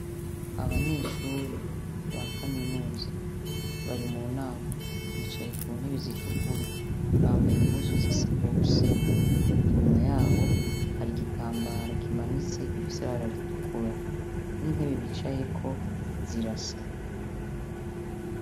Abanyeshure ba kaminuza bari munama bicaye kuntebe zitukura bambaye impuzu zisa bose inyuma yabo hari igitambara kimanitse gifise ibara ritukura nintebe bicayeko zirasa